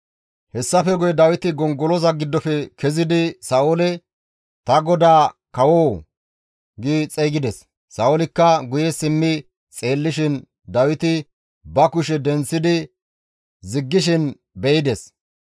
Hessafe guye Dawiti gongoloza giddofe kezidi Sa7oole, «Ta godaa kawoo!» gi xeygides; Sa7oolikka guye simmi xeellishin Dawiti ba kushe denththidi ziggishin be7ides;